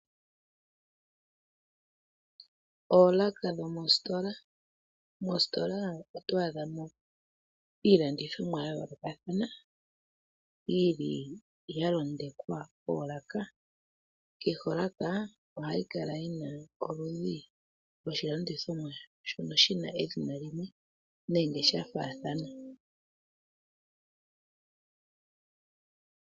Oolaka dhomositola, mositola oto a dha mo iilandithomwa ya yoolokathana yili ya londekwa koolaka, kehe olaka ohayi kala yina oludhi lwo shilandithomwa shono shina edhina limwe nenge sha faathana.